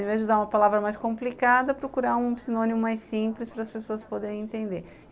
Em vez de usar uma palavra mais complicada, procurar um sinônimo mais simples para as pessoas poderem entender.